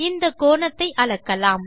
இந்த கோணத்தை அளக்கலாம்